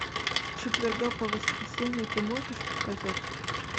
с четверга по воскресенье ты можешь показать